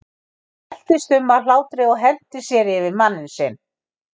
Hún veltist um af hlátri og henti sér yfir manninn sinn.